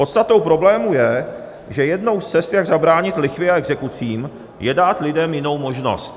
Podstatou problému je, že jednou z cest, jak zabránit lichvě a exekucím, je dát lidem jinou možnost.